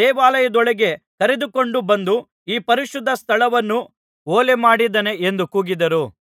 ದೇವಾಲಯದೊಳಗೆ ಕರೆದುಕೊಂಡು ಬಂದು ಈ ಪರಿಶುದ್ಧಸ್ಥಳವನ್ನು ಹೊಲೆಮಾಡಿದ್ದಾನೆ ಎಂದು ಕೂಗಿದರು